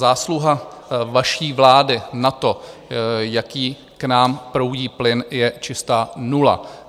Zásluha vaší vlády na tom, jaký k nám proudí plyn, je čistá nula.